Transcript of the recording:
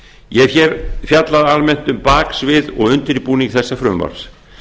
ég hef hér fjallað almennt um baksvið og undirbúning þessa frumvarps